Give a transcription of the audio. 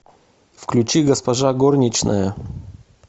включи госпожа горничная